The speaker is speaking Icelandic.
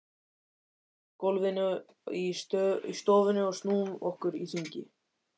Stöndum á gólfinu í stofunni og snúum okkur í hringi.